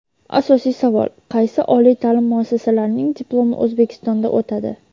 Asosiy savol: qaysi oliy ta’lim muassasalarining diplomi O‘zbekistonda o‘tadi?.